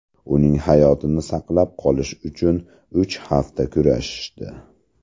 Uning hayotini saqlab qolish uchun uch hafta kurashishdi.